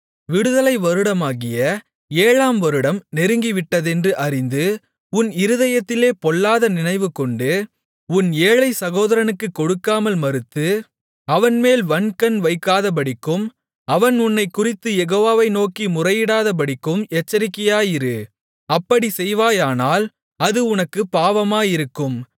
விடுதலை வருடமாகிய ஏழாம் வருடம் நெருங்கிவிட்டதென்று அறிந்து உன் இருதயத்திலே பொல்லாத நினைவுகொண்டு உன் ஏழைச் சகோதரனுக்குக் கொடுக்காமல் மறுத்து அவன்மேல் வன்கண் வைக்காதபடிக்கும் அவன் உன்னைக் குறித்துக் யெகோவாவை நோக்கி முறையிடாதபடிக்கும் எச்சரிக்கையாயிரு அப்படிச் செய்வாயானால் அது உனக்குப் பாவமாயிருக்கும்